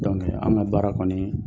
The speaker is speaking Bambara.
an ka baara kɔni ye